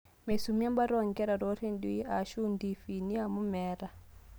Meisimu e mbata oo nkera too redioi aashu ntiifini amu meeta